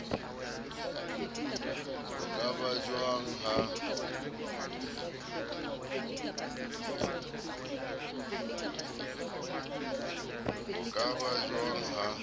ho ka ba jwang ha